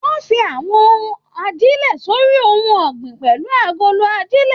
Wọn fín àwọn ajilẹ̀ s'ori ohùn ọgbin pẹlú agolo ajilẹ̀.